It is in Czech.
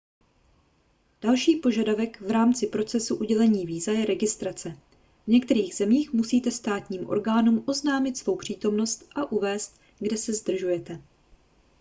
další požadavek v rámci procesu udělení víza je registrace v některých zemích musíte státním orgánům oznámit svou přítomnost a uvést kde se zdržujete